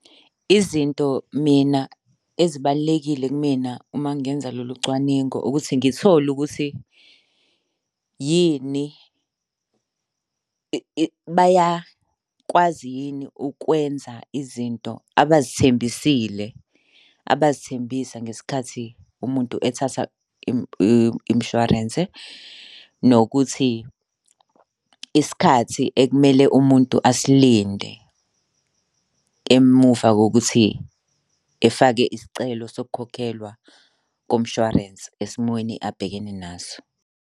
Izinto mina ezibalulekile kumina uma ngenza lolu cwaningo, ukuthi ngithole ukuthi yini bayakwazi yini ukwenza izinto abazithembisile, abazithembisa ngesikhathi umuntu ethatha imishwarense, nokuthi isikhathi ekumele umuntu asilinde emuva kokuthi efake isicelo sokukhokhelwa komshwarensi esimweni abhekene naso.